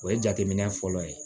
O ye jateminɛ fɔlɔ ye